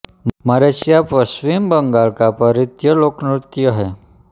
मरसिया पश्चिम बंगाल का परिद्ध लोक नृत्य है